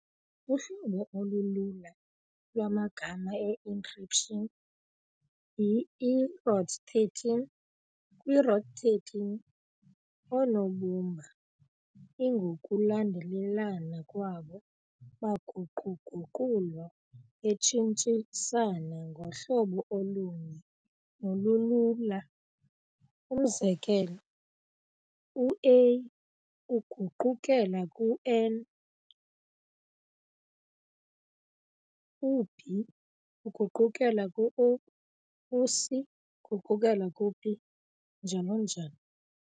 Uhlobo olulula lwamagama e-encryption y- iROT13. kwi-ROT13, oonobumba lngokulandelelana kwabo baguqu-guqulwa betshintshisana ngohlobo olunye nolulula. Umzekelo, u-"A" uguqukela ku-"N", "u-B" uguqukela ku-"O", u-"C" uguqukela ku-"P", njalo njalo.